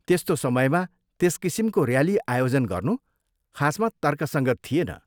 त्यस्तो समयमा त्यस किसिमको ऱ्याली आयोजन गर्नु खासमा तर्कसङ्गत थिएन।